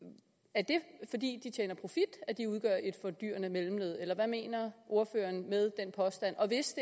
er det fordi de tjener profit at de udgør et fordyrende mellemled eller hvad mener ordføreren med den påstand og hvis